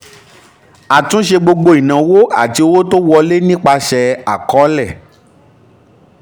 àtúnṣe gbogbo ìnáwó àti owó tó wọlé nípasẹ̀ àkọsílẹ̀.